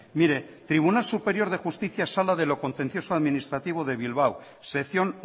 mire tribunal superior de justicia sala de lo contencioso administrativo de bilbao sección